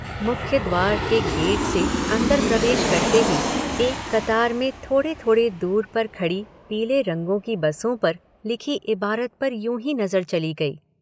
मुख्य द्वार के गेट से अंदर प्रवेश करते ही, एक कतार में थोड़े थोडे़ दूर पर खड़ी पीले रंगों की बसों पर लिखी इबारत पर यूँ ही नज़र चली गई।